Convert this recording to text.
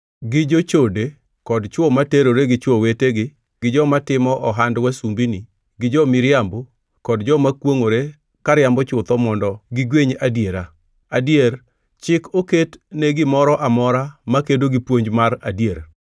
gi jochode, kod chwo ma terore gi chwo wetegi gi joma timo ohand wasumbini gi jo-miriambo, kod joma kwongʼore kariambo chutho mondo gigweny adiera. Adier chik oket ne gimoro amora makedo gi puonj mar adier.